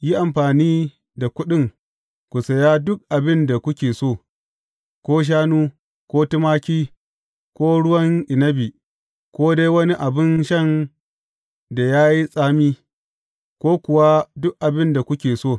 Yi amfani da kuɗin ku saya duk abin da kuke so, ko shanu, ko tumaki, ko ruwan inabi, ko dai wani abin shan da ya yi tsami, ko kuwa duk abin da kuke so.